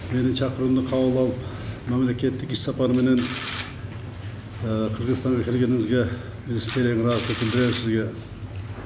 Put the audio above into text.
менің шақыруымды қабыл алып мемлекеттік іссапарменен қырғызстанға келгеніңізге алғысты білдіремін сізге